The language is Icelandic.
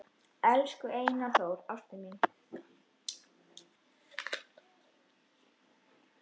Elsku Einar Þór, ástin mín